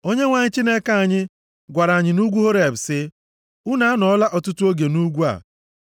Onyenwe anyị Chineke anyị gwara anyị nʼugwu Horeb sị, “Unu anọọla ọtụtụ oge nʼugwu a.